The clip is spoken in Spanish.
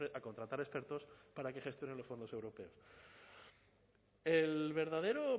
a contratar expertos para que gestionen los fondos europeos el verdadero